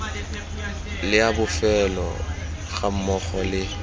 le a bofelo gammogo le